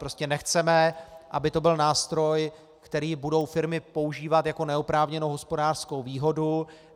Prostě nechceme, aby to byl nástroj, který budou firmy používat jako neoprávněnou hospodářskou výhodu.